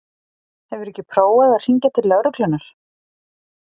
Hefurðu ekki prófað að hringja til lögreglunnar?